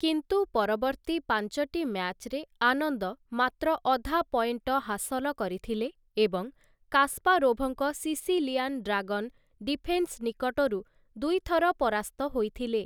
କିନ୍ତୁ ପରବର୍ତ୍ତୀ ପାଞ୍ଚଟି ମ୍ୟାଚ୍‌ରେ ଆନନ୍ଦ ମାତ୍ର ଅଧା ପଏଣ୍ଟ ହାସଲ କରିଥିଲେ ଏବଂ କାସ୍ପାରୋଭ୍‌ଙ୍କ ସିସିଲିଆନ୍ ଡ୍ରାଗନ୍‌ ଡିଫେନ୍‌ସ୍‌ ନିକଟରୁ ଦୁଇଥର ପରାସ୍ତ ହୋଇଥିଲେ ।